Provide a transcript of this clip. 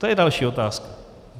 To je další otázka.